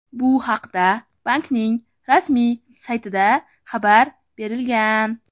Bu haqda bankning rasmiy saytida xabar berilgan.